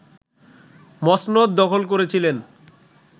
মসনদ দখল করেছিলেন